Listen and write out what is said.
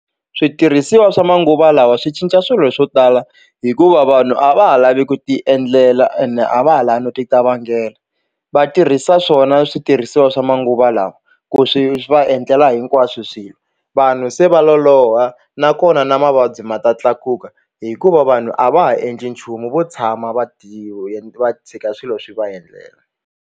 Switirhisiwa swa manguva lawa swi cinca swilo swo tala hikuva vanhu a va ha lavi ku ti endlela ene a va ha lavi no ti qavanghela vatirhisa swona switirhisiwa swa manguva lawa ku swi va endlela hinkwaswo swilo vanhu se va loloha nakona na mavabyi ma ta tlakuka hikuva vanhu a va ha endli nchumu vo tshama va ti va tshika swilo swi va endlela.